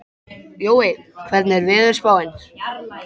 Jói, hvernig er veðurspáin?